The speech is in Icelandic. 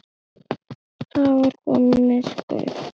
Það var komið myrkur.